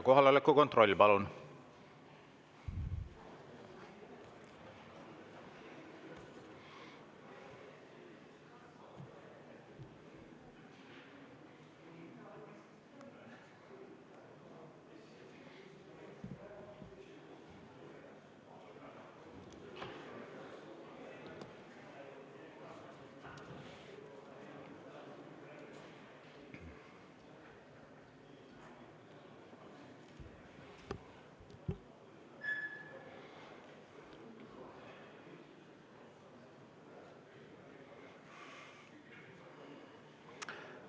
Kohaloleku kontroll, palun!